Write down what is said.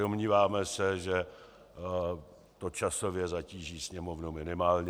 Domníváme se, že to časově zatíží Sněmovnu minimálně.